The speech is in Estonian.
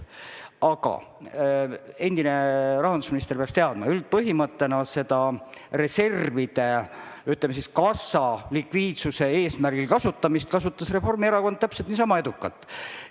Aga endine rahandusminister peaks teadma, et põhimõtteliselt reserve või, ütleme siis, kassa likviidsust kasutas Reformierakond täpselt niisama edukalt.